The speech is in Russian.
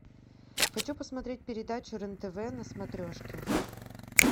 хочу посмотреть передачу рен тв на смотрешке